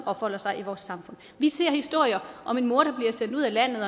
opholder sig i vores samfund vi ser historier om en mor der bliver sendt ud af landet og